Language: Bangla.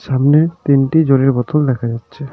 সামনে তিনটি জলের বোতল দেখা যাচ্ছে.